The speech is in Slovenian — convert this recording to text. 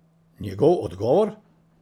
Njegov odgovor?